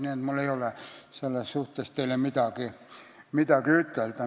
Nii et mul ei ole selles suhtes teile midagi ütelda.